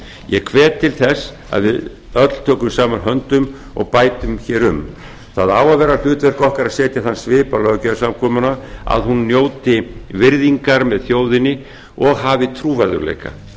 ég hvet til þess að við öll tökum saman höndum og bætum hér um það á að vera hlutverk okkar að setja þann svip á löggjafarsamkomuna að hún njóti virðingar með þjóðinni og hafi trúverðugleika